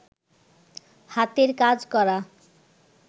হাতের কাজ করা